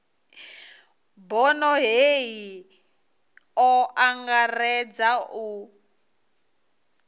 bono hei o angaredza u